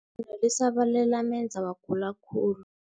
no lisabalele lamenza wagula khulu.